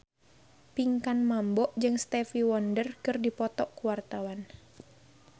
Pinkan Mambo jeung Stevie Wonder keur dipoto ku wartawan